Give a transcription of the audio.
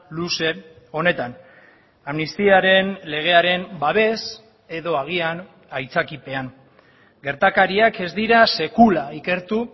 luze honetan amnistiaren legearen babes edo agian aitzakiapean gertakariak ez dira sekula ikertu